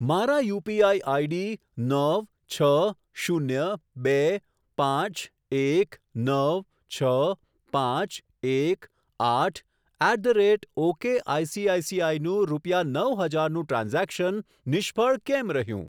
મારા UPI ID નવ છ શૂન્ય બે પાંચ એક નવ છ પાંચ એક આઠ at the rate okay ICICI નું રૂપિયા નવ હજારનું ટ્રાન્ઝેક્શન નિષ્ફળ કેમ રહ્યું?